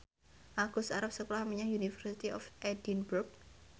Agus arep sekolah menyang University of Edinburgh